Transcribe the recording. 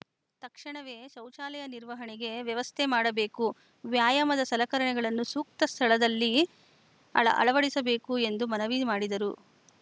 ತಕ್ಷಣವೇ ಶೌಚಾಲಯ ನಿರ್ವಹಣೆಗೆ ವ್ಯವಸ್ಥೆ ಮಾಡಬೇಕು ವ್ಯಾಯಾಮದ ಸಲಕರಣೆಗಳನ್ನು ಸೂಕ್ತ ಸ್ಥಳದಲ್ಲಿ ಅಳ ಅಳವಡಿಸಬೇಕು ಎಂದು ಮನವಿ ಮಾಡಿದರು